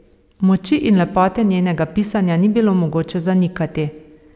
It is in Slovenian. Moči in lepote njenega pisanja ni bilo mogoče zanikati.